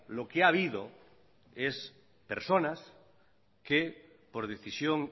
lo que ha habido es personas que por decisión